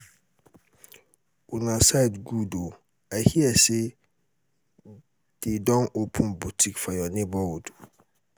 una side good oo i hear say dey don open boutique for your neighborhood